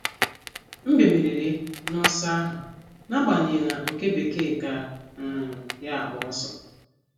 Mbe meriri n’ọsọ ahụ, n’agbanyeghị na òké bekee ka um ya agba ọsọ.